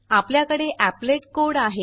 आपल्याकडे applet code आहे